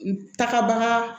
N tagabaga